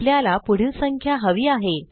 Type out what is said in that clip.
आपल्याला पुढील संख्या हवी आहे